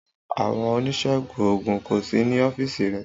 Àwọn oníṣègùn òògùn kò sí ní ọ́fíìsì rẹ̀.